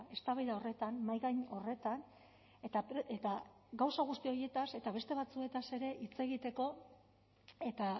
eztabaida horretan mahaigain horretan eta gauza guzti horietaz eta beste batzuez ere hitz egiteko eta